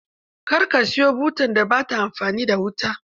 Kar ka siyo butar da ba ta amfani da wuta.